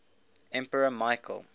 emperor michael